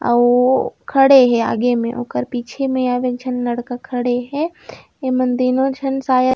आऊ खड़े हे आगे में ओकर पीछे में आऊ एक झन लड़का खड़े हे तीनो झन शायद--